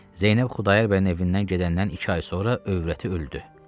Zeynəb Xudayar bəyin evindən gedəndən iki ay sonra övrəti öldü.